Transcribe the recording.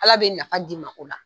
Ala bɛ nafa d'i ma o la.